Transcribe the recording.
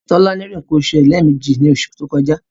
Tolani rí nǹkan oṣù rẹ̀ lẹ́ẹ̀meji ní oṣù tó kọjá.